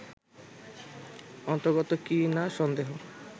অন্তর্গত কি না সন্দেহ